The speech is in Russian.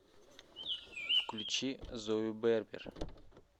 включи зою бербер